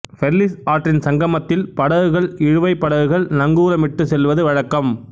Perlis ஆற்றின் சங்கமத்தில் படகுகள் இழுவைப் படகுகள் நங்கூரமிட்டுச் செல்வது வழக்கம்